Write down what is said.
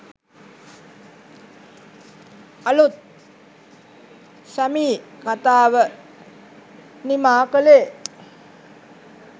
අලුත් 'සැමී' කතාව නිමා කළේ